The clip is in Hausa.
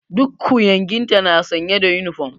Duk ƙuyanginta suna sanye da uniform.